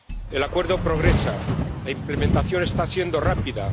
El acuerdo progresa, la implementación está siendo rápida.